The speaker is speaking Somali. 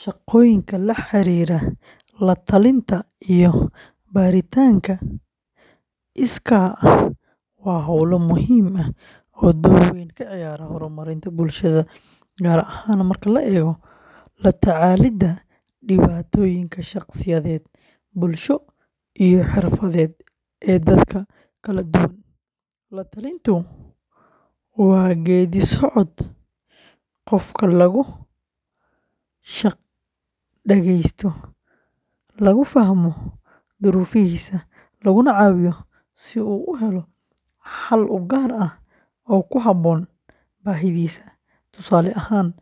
Shaqooyinka la xiriira la-talinta iyo baaritaanka iskaa ah waa howlo muhiim ah oo door weyn ka ciyaara horumarinta bulshada, gaar ahaan marka la eego la-tacaalidda dhibaatooyinka shakhsiyadeed, bulsho, iyo xirfadeed ee dadka kala duwan. La-talintu waa geedi-socod qofka lagu dhageysto, lagu fahmo duruufihiisa, laguna caawiyo si uu u helo xal u gaar ah oo ku habboon baahidiisa. Tusaale ahaan,